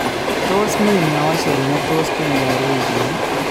Tos mi meosyek ne tos kenyor wikini?